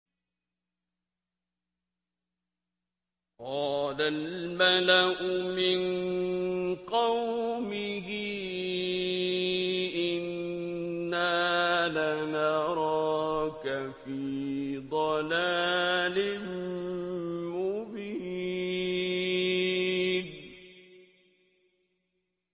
قَالَ الْمَلَأُ مِن قَوْمِهِ إِنَّا لَنَرَاكَ فِي ضَلَالٍ مُّبِينٍ